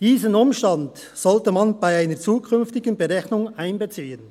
Diesen Umstand sollte man bei einer zukünftigen Berechnung einbeziehen.